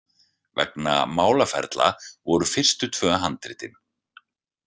Vegna málaferla voru fyrstu tvö handritin.